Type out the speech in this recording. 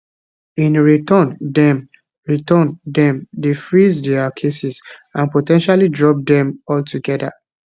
in return dem return dem dey freeze dia cases and po ten tially drop dem altogether